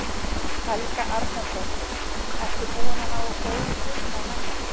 Helga Arnardóttir: Ertu búinn að ná góðum tökum á henni?